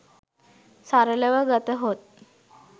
සරලව ගතහොත්